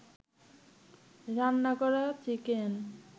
রান্না করা চিকেন